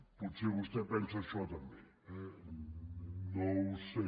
potser vostè pensa això també eh no ho sé